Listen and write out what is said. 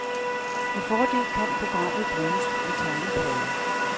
Med fordel kan programmet bruges med tegneplade.